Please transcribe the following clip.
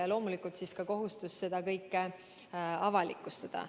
Aga loomulikult peaks olema ka kohustus seda kõike avalikustada.